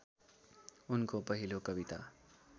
उनको पहिलो कविता